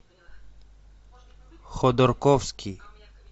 ходорковский